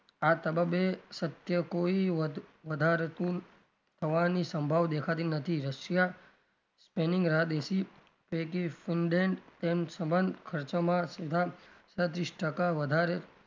આ તબાબે સત્ય કોઈ વધારતું થવાની સંભાવના દેખાતી નથી રશિયા રાહ દેખી સાડત્રીસ ટકા વધારે,